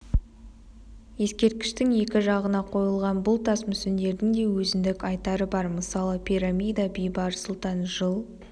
ескерткіштің екі жағына қойылған бұл тас мүсіндердің де өзіндік айтары бар мысалы пирамида бейбарыс сұлтан жыл